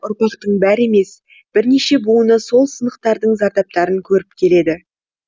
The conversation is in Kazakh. ұрпақтың бәрі емес бірнеше буыны сол сынақтардың зардаптарын көріп келеді